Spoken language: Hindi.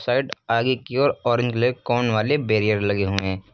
आगे की ओर ऑरेंज ब्लैक कोन वाले बैरियर लगे हुए हैं।